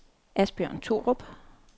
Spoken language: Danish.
Asbjørn Thorup